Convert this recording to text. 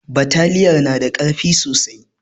Bataliyar na da ƙarfi sosai